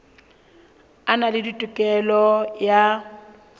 a na le tokelo ya